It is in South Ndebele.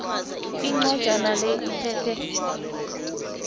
incwajana le iphethe